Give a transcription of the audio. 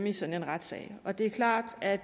i sådan en retssag og det er klart at